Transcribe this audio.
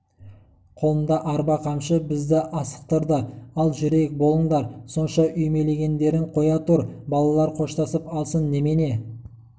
қолында арба қамшы бізді асықтырды ал жүрейік болыңдар сонша үймелегеңдерің қоя тұр балалар қоштасып алсын немене